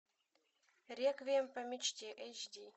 реквием по мечте эйч ди